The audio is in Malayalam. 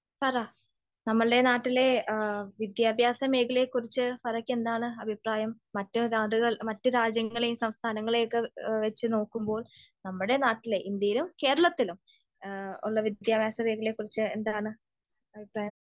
ഫറ, നമ്മളുടെ നാട്ടിലെ വിദ്യാഭ്യാസ മേഖലയെക്കുറിച്ച് ഫറക്ക് എന്താണ് അഭിപ്രായം? മറ്റു നാടുകൾ, മറ്റ് രാജ്യങ്ങളേം സംസ്ഥാനങ്ങളേയും ഒക്കെ വെച്ച് നോക്കുമ്പോൾ നമ്മുടെ നാട്ടിലെ, ഇന്ത്യയിലും കേരളത്തിലും ഉള്ള വിദ്യാഭ്യാസ മേഖലയെ കുറിച്ച് എന്താണ് അഭിപ്രായം?